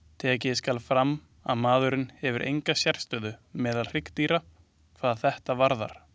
Tekið skal fram að maðurinn hefur enga sérstöðu meðal hryggdýra hvað þetta varðar.